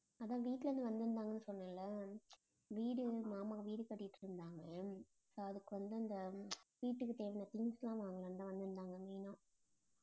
அதான் வீட்டுல இருந்து வந்திருந்தாங்கன்னு சொன்னேன்ல வீடு மாமா வீடு கட்டிட்டிருந்தாங்க. so அதுக்கு வந்து அந்த வீட்டுக்கு தேவையான things எல்லாம் வாங்கலாம்தான் வந்திருந்தாங்க main ஆ